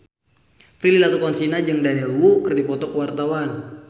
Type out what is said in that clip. Prilly Latuconsina jeung Daniel Wu keur dipoto ku wartawan